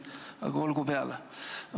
Aga olgu peale.